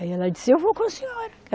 Aí ela disse, eu vou com a senhora.